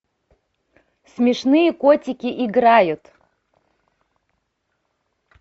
смешные котики играют